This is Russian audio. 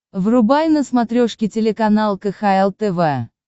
врубай на смотрешке телеканал кхл тв